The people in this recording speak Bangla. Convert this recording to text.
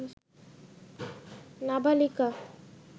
নাবালিকা